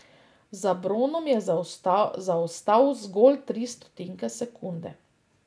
Za bronom je zaostal zgolj tri stotinke sekunde.